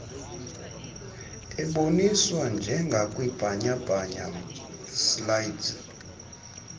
eboniswa njengakwibhanyabhanya slides